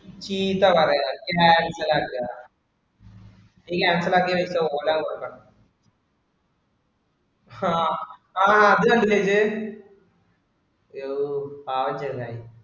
ചീത്ത പറയുക, cancel ആക്കുക. ഇത് cancel ആക്കിയാ പൈസ ഓനാ കൊടുക്കണം. ഹാ ആ അത് കണ്ടില്ലേ ഇജ്ജ്. ഐയോ പാവം ചെങ്ങായി